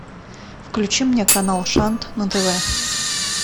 включи мне канал шант на тв